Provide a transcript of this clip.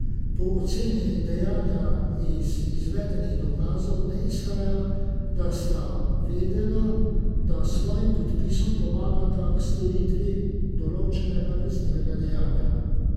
Po oceni dejanja iz izvedenih dokazov ne izhaja, da sta vedela, da s svojim podpisom pomagata k storitvi določenega kaznivega dejanja.